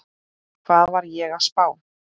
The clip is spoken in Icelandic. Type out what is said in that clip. Hvað var ég að spá?